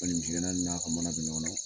N'ɔ tɛ misi gɛnna na ka mana bɛ ɲɔgɔn na